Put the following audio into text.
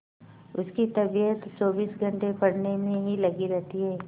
उसकी तबीयत चौबीस घंटे पढ़ने में ही लगी रहती है